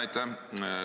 Aitäh!